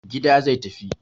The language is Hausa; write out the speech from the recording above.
Gida zai tafi.